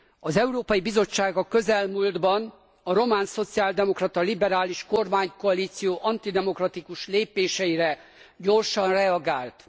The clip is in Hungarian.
Az Európai Bizottság a közelmúltban a román szociáldemokrata liberális kormánykoalíció antidemokratikus lépéseire gyorsan reagált.